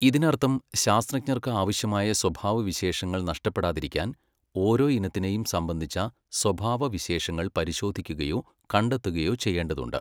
ഇതിനർത്ഥം ശാസ്ത്രജ്ഞർക്ക് ആവശ്യമായ സ്വഭാവവിശേഷങ്ങൾ നഷ്ടപ്പെടാതിരിക്കാൻ ഓരോ ഇനത്തിനെയും സംബന്ധിച്ച സ്വഭാവവിശേഷങ്ങൾ പരിശോധിക്കുകയോ കണ്ടെത്തുകയോ ചെയ്യേണ്ടതുണ്ട്.